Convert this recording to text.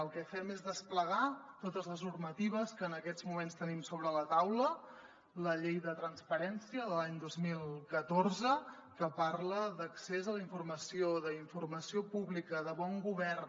el que fem és desplegar totes les normatives que en aquests moments tenim sobre la taula la llei de transparència de l’any dos mil catorze que parla d’accés a la informació d’informació pública de bon govern